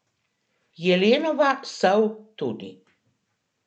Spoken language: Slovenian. Jelenova sol tudi.